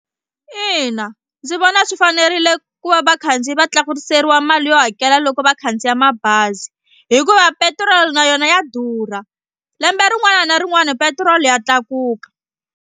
Ina ndzi vona swi fanerile ku va vakhandziyi va tlakuseriwa mali yo hakela loko va khandziya mabazi hikuva petiroli na yona ya durha lembe rin'wana na rin'wana petiroli ya tlakuka.